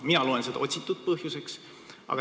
Mina loen seda otsitud põhjuseks.